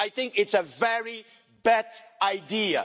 50'. I think it's a very bad idea.